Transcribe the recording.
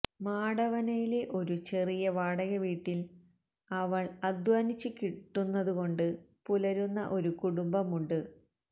മാടവനയിലെ ഒരു ചെറിയ വീടകവീട്ടിൽ അവൾ അധ്വാനിച്ച് കിട്ടുന്നതുകൊണ്ട് പുലരുന്ന ഒരു കുടുംബമുണ്ട്